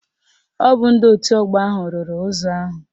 Ọ bụ ndị otu ọgbọ ahụ rụrụ ụzọ ahụ